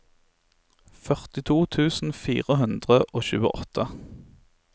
førtito tusen fire hundre og tjueåtte